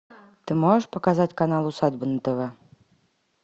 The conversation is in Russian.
ты можешь показать канал усадьба на тв